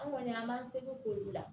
An kɔni an b'an seko k'olu la